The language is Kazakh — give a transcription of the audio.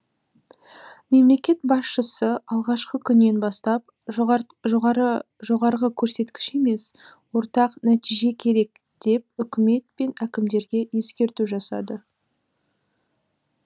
мемлекет басшысы алғашқы күннен бастап жоғарғы көрсеткіш емес ортақ нәтиже керек деп үкімет пен әкімдерге ескерту жасады